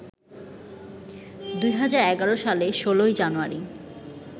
২০১১ সালের ১৬ জানুয়ারি